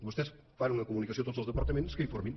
vostès fan una comunicació a tots els departaments que informin